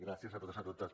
gràcies a tots i totes